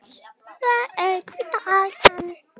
Það er hvíta aldan.